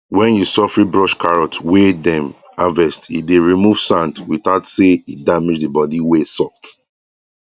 when you suffry brush carrot wey dem harvest e dey remove sand without say e damage the body wey soft